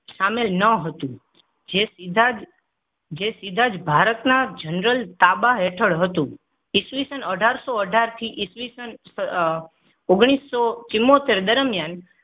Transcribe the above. શામેલ ન હતું. જે સીધા જ જે સીધા જ ભારતના જનરલ તાબા હેઠળ હતું. ઇસવીસન અઢારસો અઢાર થી ઇસવીસન ઓગણીસો ચૂમોતેર દરમિયાન